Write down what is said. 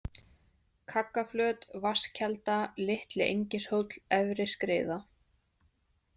Kaggaflöt, Vatnskelda, Litli-Engishóll, Efri-Skriða